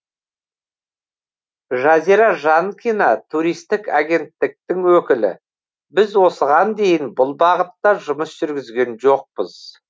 жазира жанкина туристік агенттіктің өкілі біз осыған дейін бұл бағытта жұмыс жүргізген жоқпыз